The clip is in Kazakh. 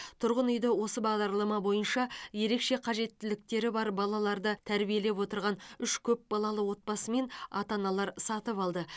тұрғын үйді осы бағдарлама бойынша ерекше қажеттіліктері бар балаларды тәрбиелеп отырған үш көпбалалы отбасы мен ата аналар сатып алды